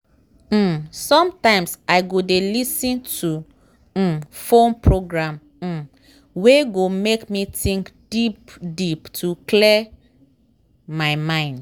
um sometimes i go dey lis ten to um phone program um wey go make me think deep deep to clear my mind.